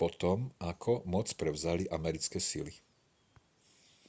po tom ako moc prevzali americké sily